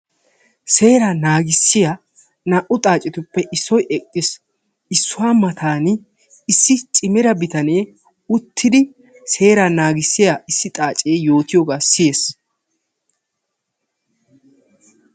Seeraa naagissiyaa naa"u xaacetuppe issoy eqqis. Issuwaa matan issi cimida bitanee uttidi seeraa naagissiyaa issi xaacee yootiyoogaa siyes.